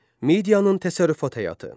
Midiyanın təsərrüfat həyatı.